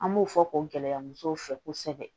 An b'o fɔ k'o gɛlɛya musow fɛ kosɛbɛ